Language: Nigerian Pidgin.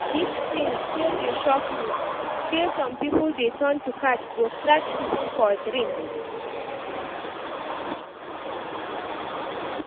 Dis thing still dey shock me, say some people dey turn to cat go scratch people for dream